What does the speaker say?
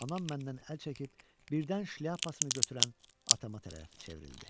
Anam məndən əl çəkib birdən şlyapasını götürən atama tərəf çevrildi.